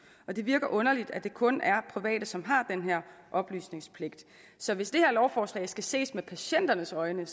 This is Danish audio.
det virker underligt at det kun er private som har den her oplysningspligt så hvis det her lovforslag skal ses med patienternes øjne